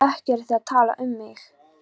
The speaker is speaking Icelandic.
Ekki eruð þið að tala um mig?